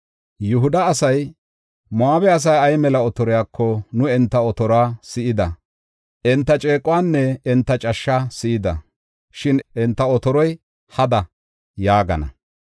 Yihuda asay, “Moo7abe asay ay mela otoriyako nu enta otoruwa si7ida; enta ceequwanne enta cashshaa si7ida; shin enta otoroy hada” yaagana.